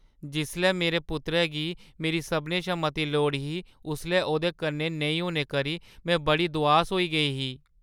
जिसलै मेरे पुत्तरै गी मेरी सभनें शा मती लोड़ ही उसलै ओह्दे कन्नै नेईं होने करी में बड़ी दुआस होई गेई ही।